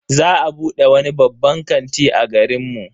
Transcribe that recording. Za a bude wani babban kanti a garin mu.